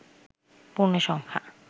পূর্ণ সংখ্যা